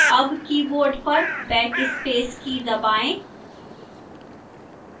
अब keyboard पर backspace की दबाएं